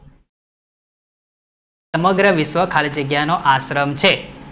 સમગ્ર વિશ્વ ખાલી જગ્યા નો આશ્રમ છે